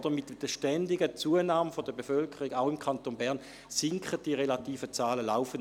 Mit der ständigen Zunahme der Bevölkerung, auch im Kanton Bern, sinken die relativen Zahlen laufend.